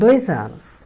Dois anos.